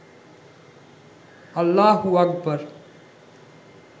আল্লাহু আকবর